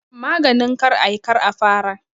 Maganin kar a yi, kar a fara